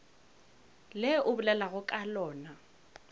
le o bolelago ka lona